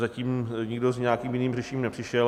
Zatím nikdo s nějakým jiným řešením nepřišel.